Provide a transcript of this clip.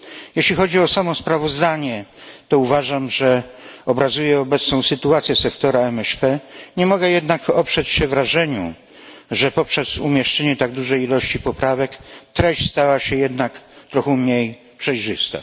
Jeśli chodzi o samo sprawozdanie, to uważam, że obrazuje obecną sytuację sektora MŚP, nie mogę jednak oprzeć się wrażeniu, że poprzez umieszczenie tak dużej ilości poprawek treść stała się jednak trochę mniej przejrzysta.